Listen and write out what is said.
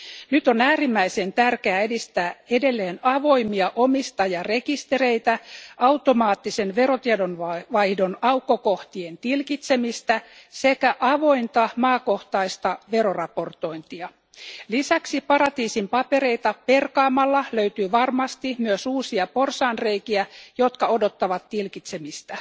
Nyt on äärimmäisen tärkeää edistää edelleen avoimia omistajarekistereitä, automaattisen verotietojen vaihdon aukkokohtien tilkitsemistä sekä avointa maakohtaista veroraportointia. Lisäksi paratiisin papereita perkaamalla löytyy varmasti myös uusia porsaanreikiä, jotka odottavat tilkitsemistä.